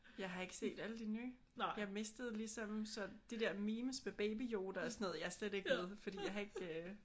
Jeg har ikke set alle de nye. Jeg mistede ligesom sådan de der memes med Baby Yoda og sådan noget. Jeg er slet ikke med fordi jeg har ikke øh